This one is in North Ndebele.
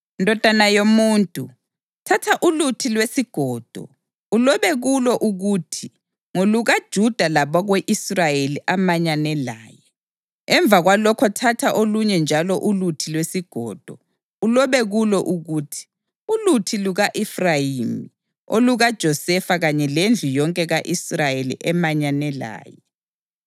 “Ndodana yomuntu, thatha uluthi lwesigodo, ulobe kulo ukuthi, ‘NgolukaJuda labako-Israyeli amanyane laye.’ Emva kwalokho thatha olunye njalo uluthi lwesigodo, ulobe kulo ukuthi, ‘Uluthi luka-Efrayimi, olukaJosefa kanye lendlu yonke ka-Israyeli emanyene laye.’